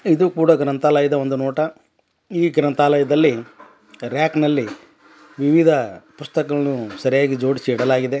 ಇದು ಕೂಡ ಗ್ರಂಥಾಲಯದ ಒಂದು ನೋಟ ಈ ಗ್ರಂಥಾಲಯದಲ್ಲಿ ರ್ಯಾಕ್ನಲ್ಲಿ ವಿವಿಧ ಪುಸ್ತಕಗಳ್ನು ಸರಿಯಾಗಿ ಜೋಡ್ಸಿ ಇಡಲಾಗಿದೆ.